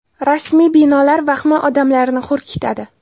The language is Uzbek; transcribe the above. Rasmiy binolar vahmi odamlarni hurkitadi.